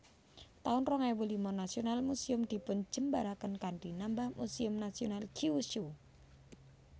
taun rong ewu lima Nasional Museum dipunjembaraken kanthi nambah Muséum Nasional Kyushu